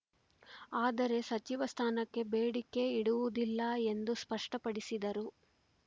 ಆದರೆ ಸಚಿವ ಸ್ಥಾನಕ್ಕೆ ಬೇಡಿಕೆ ಇಡುವುದಿಲ್ಲ ಎಂದು ಸ್ಪಷ್ಟಪಡಿಸಿದರು